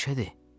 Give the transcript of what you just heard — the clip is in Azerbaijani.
Məşədi!